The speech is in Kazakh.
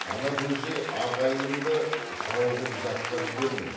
ана бөжей ағайыныңды жау қып жатқа жіберме